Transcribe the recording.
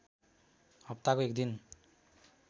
हप्ताको एक दिन